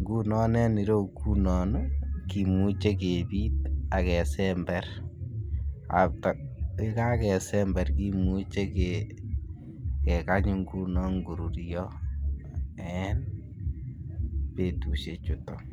Ngunon en ireyu ngunon ii kimuche kepit ak kesember after yee kakesember kimuche kekany ngunon koruryo en betushek chuton